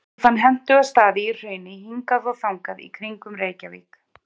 Ég fann hentuga staði í hrauni hingað og þangað í kringum Reykjavík.